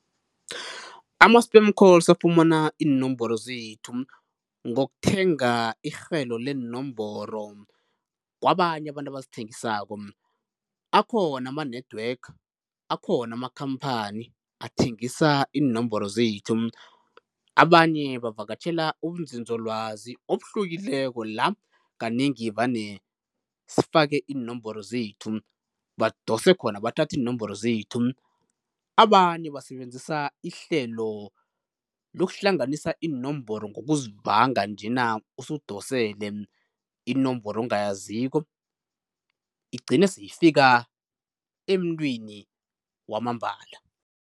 Ama-spam calls afumana iinomboro zethu ngokuthenga irhelo leenomboro kwabanye abantu abazithengisako. Akhona ama-network, akhona ama-company athengisa iinomboro zethu. Abanye bavakatjhela ubunzinzolwazi obuhlukileko la kanengi vane sifake iinomboro zethu, badose khona bathathe iinomboro zethu. Abanye basebenzisa ihlelo lokuhlanganisa iinomboro ngokuzivanga njena usudosele inomboro ongayaziko igcine seyifika emntwini wamambala.